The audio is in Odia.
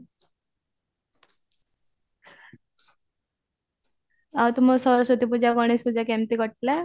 ଆଉ ତୁମ ସରସ୍ଵତୀ ପୂଜା ଗଣେଶ ପୂଜା କେମତି କଟିଲା